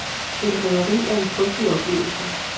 Et røveri er en frygtelig oplevelse.